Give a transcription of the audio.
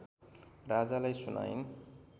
राजालाई सुनाइन्